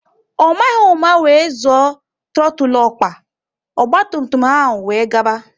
Ọ maghị ụma wéré zoọ trotul ọkpa, ogba tum tum ahụ wéré gaba